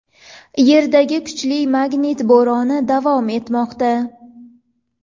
Yerdagi kuchli magnit bo‘roni davom etmoqda.